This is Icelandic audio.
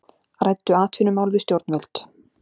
Ræddu atvinnumál við stjórnvöld